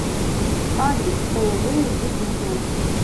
адрес ооо уютный дом